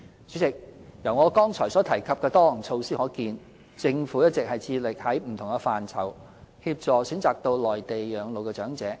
主席，由我剛才所提及的多項措施可見，政府一直致力在不同範疇協助選擇到內地養老的長者。